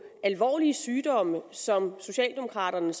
alvorlige sygdomme som socialdemokraterne